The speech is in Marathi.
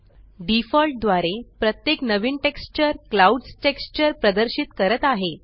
डिफॉल्ट द्वारे प्रत्येक नवीन टेक्सचर क्लाउड्स टेक्स्चर प्रदर्शित करत आहे